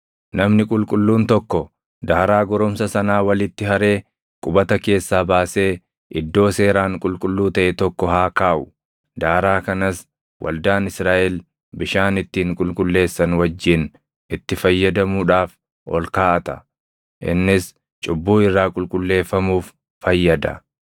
“Namni qulqulluun tokko daaraa goromsa sanaa walitti haree qubata keessaa baasee iddoo seeraan qulqulluu taʼe tokko haa kaaʼu. Daaraa kanas waldaan Israaʼel bishaan ittiin qulqulleessan wajjin itti fayyadamuudhaaf ol kaaʼata; innis cubbuu irraa qulqulleeffamuuf fayyada.